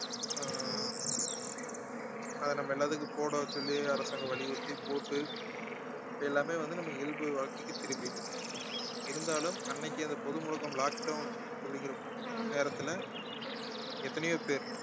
அது நம்ம எல்லாத்துக்கும் போட சொல்லி அரசாங்கம் வலியுறுத்தி போட்டு எல்லாமே வந்து நம்ம இயல்பு வாழ்க்கைக்கு திரும்பிட்டோம் இருந்தாலும் அன்னைக்கு அந்த பொது முடக்கம் lock down அப்படிங்கற நேரத்துல எத்தனையோ பேர்